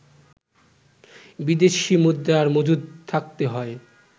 বিদেশি মুদ্রার মজুদ থাকতে হয়